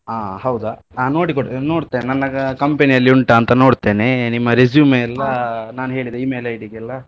ಹಾ ಹೌದಾ ನೋಡಿ ಕೊಡ್~ ನೋಡ್ತೆ ನನ್ನ company ಅಲ್ಲಿ ಉಂಟಾ ಅಂತ ನೋಡ್ತೆನೆ ನಿಮ್ಮ resume ಎಲ ನಾನ್ ಹೇಳಿದ email ID ಗೆಲ್ಲಾ.